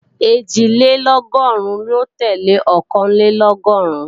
Ẹ̀jìlélọ́gọ́rùn ló tẹ́lẹ̀ Ọ̀kànlélọ́gọ́rùn